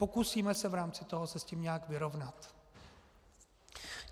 Pokusíme se v rámci toho se s tím nějak vyrovnat.